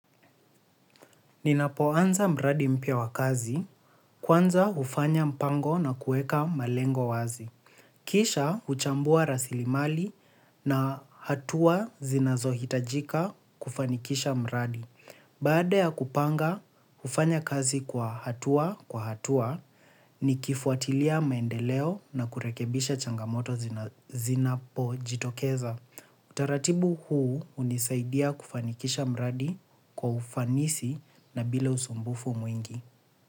Ninapoanza mradi mpya wa kazi, kwanza hufanya mpango na kuweka malengo wazi. Kisha huchambua rasilimali na hatua zinazohitajika kufanikisha mradi. Baada ya kupanga, hufanya kazi kwa hatua kwa hatua nikifuatilia maendeleo na kurekebisha changamoto zinapojitokeza. Taratibu huu hunisaidia kufanikisha mradi kwa ufanisi na bila usumbufu mwingi.